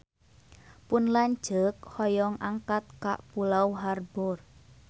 Pun lanceuk hoyong angkat ka Pulau Harbour